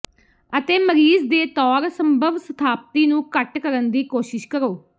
ਅਤੇ ਮਰੀਜ਼ ਦੇ ਤੌਰ ਸੰਭਵ ਸਥਾਪਤੀ ਨੂੰ ਘੱਟ ਕਰਨ ਦੀ ਕੋਸ਼ਿਸ਼ ਕਰੋ